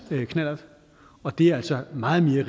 knallert og det er altså meget mere